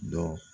Dɔ